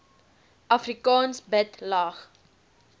afrikaans bid lag